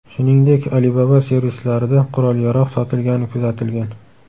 Shuningdek, Alibaba servislarida qurol-yarog‘ sotilgani kuzatilgan.